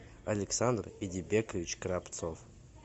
александр идибекович кравцов